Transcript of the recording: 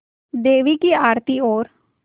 देवी की आरती और